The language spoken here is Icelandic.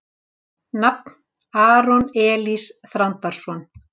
Nafn: Aron Elís Þrándarson